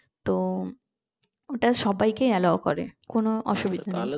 তো ওটা সবাইকে allow করে কোনো অসুবিধা নেই